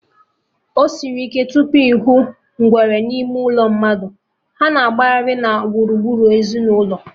Osiri ike tupu ịhụ ngwere n'ime ụlọ mmadụ, ha na-agbaghari na gburugburu ezinụlọ